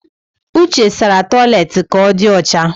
Uche sara toilet ka ọ di ọcha